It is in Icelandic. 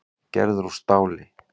Gerður úr stáli.